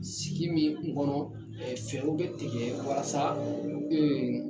Sigi min kɔnɔ fɛɛrɛw bɛ tigɛ walasa